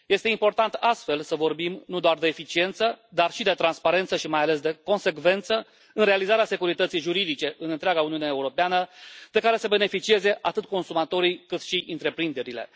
Este important, astfel, să vorbim nu doar de eficiență, dar și de transparență și mai ales de consecvență în realizarea securității juridice în întreaga Uniune Europeană, de care să beneficieze atât consumatorii, cât și întreprinderile.